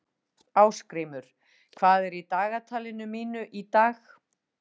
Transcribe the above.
Ásgrímur, hvað er í dagatalinu mínu í dag?